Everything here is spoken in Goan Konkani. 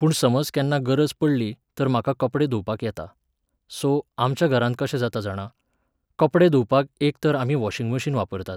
पूण समज केन्ना गरज पडली, तर म्हाका कपडे धुंवपाक येता. सो, आमच्या घरांत कशें जाता जाणा, कपडे धुंवपाक एक तर आमी वॉशींग मशीन वापरतात